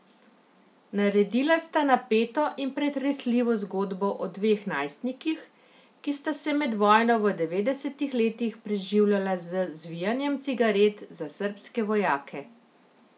Naredila sta napeto in pretresljivo zgodbo o dveh najstnikih, ki sta se med vojno v devetdesetih letih preživljala z zvijanjem cigaret za srbske vojake.